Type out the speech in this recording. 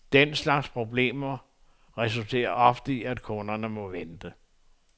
Den slags problemer resulterer ofte i, at kunderne må vente.